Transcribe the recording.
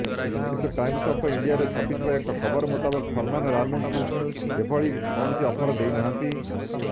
କିନ୍ତୁ Times of ଇଣ୍ଡିଆରେ ଛପିଥିବା ଏକ ଖବର ମୁତାବକ ସଲମାନ୍ ରାନୁଙ୍କୁ ଏଭଳି କୌଣସି ଅଫର୍ ଦେଇନାହାନ୍ତି